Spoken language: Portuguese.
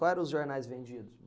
Quais eram os jornais vendidos?